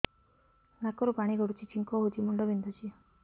ନାକରୁ ପାଣି ଗଡୁଛି ଛିଙ୍କ ହଉଚି ମୁଣ୍ଡ ବିନ୍ଧୁଛି